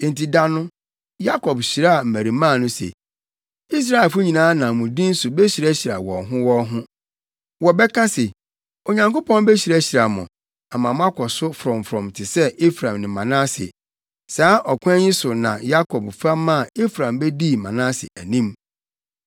Enti da no, Yakob hyiraa mmarimaa no se, “Israelfo nyinaa nam mo din so behyirahyira wɔn ho wɔn ho. Wɔbɛka se, ‘Onyankopɔn behyirahyira mo, ama moakɔ so frɔmfrɔm te sɛ Efraim ne Manase.’ ” Saa ɔkwan yi so na Yakob fa maa Efraim bedii Manase anim.